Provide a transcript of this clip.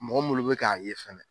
Mɔgɔ minlu bɛ k'a ye fɛnɛ